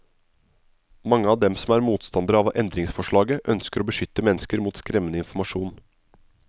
Mange av dem som er motstandere av endringsforslaget ønsker å beskytte mennesker mot skremmende informasjon.